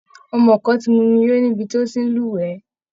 Ọmọ kan ti mumi yó nibi tó ti ń lúwẹ̀ẹ́